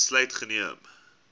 besluit geneem